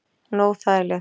Hún er óþægileg.